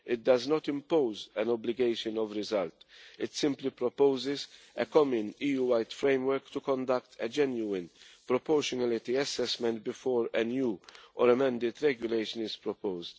take. It does not impose an obligation of result, it simply proposes a common EU wide framework to conduct a genuine proportionality assessment before a new or amended regulation is proposed.